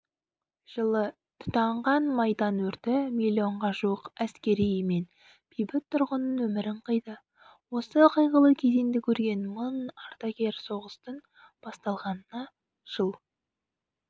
жылы тұтанған майдан өрті миллионға жуық әскери мен бейбіт тұрғынның өмірін қиды осы қайғылы кезеңді көрген мың ардагер соғыстың басталғанына жыл